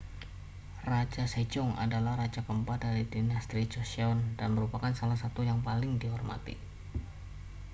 raja sejong adalah raja keempat dari dinasti joseon dan merupakan salah satu yang paling dihormati